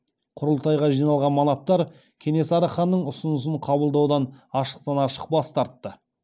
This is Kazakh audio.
құрылтайға жиналған манаптар кенесары ханның ұсынысын қабылдаудан ашықтан ашық бас тартты